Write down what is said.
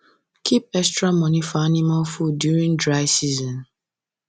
keep extra money for animal food during dry season